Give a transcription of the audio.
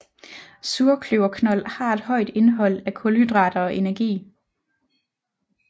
Surkløverknold har et højt indhold af kulhydrater og energi